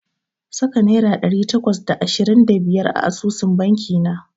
Saka naira ɗari takwas da ashirin da biyar a asusun banki na.